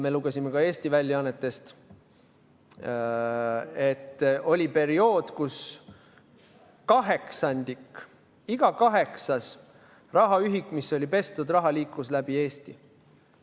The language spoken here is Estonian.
Me lugesime ka Eesti väljaannetest, et oli periood, kus kaheksandik, iga kaheksas rahaühik, mis oli pestud raha, liikus läbi Eesti.